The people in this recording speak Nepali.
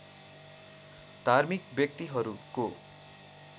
धार्मिक व्यक्तिहरूको